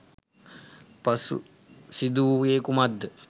පසු සිදු වූයේ කුමක්ද?